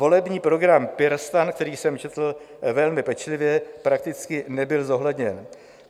Volební program PirSTAN, který jsem četl velmi pečlivě, prakticky nebyl zohledněn.